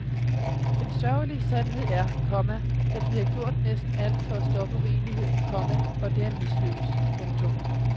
Den sørgelige sandhed er, komma at vi har gjort næsten alt for at stoppe uenigheden, komma og det er mislykket. punktum